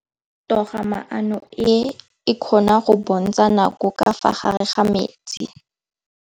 Toga-maanô e, e kgona go bontsha nakô ka fa gare ga metsi.